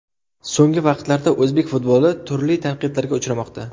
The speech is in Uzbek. So‘nggi vaqtlarda o‘zbek futboli turli tanqidlarga uchramoqda.